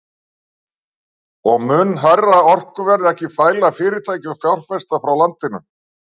Og mun hærra orkuverð ekki fæla fyrirtæki og fjárfesta frá landinu?